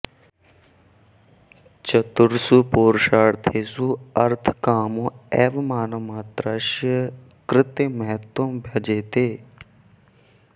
चतुर्षु पुरुषार्थेषु अर्थकामौ एव मानवमात्रस्य कृते महत्त्वं भजेते